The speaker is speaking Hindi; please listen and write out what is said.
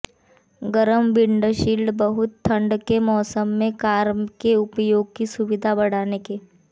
गरम विंडशील्ड बहुत ठंड के मौसम में कार के उपयोग की सुविधा बढ़ाने के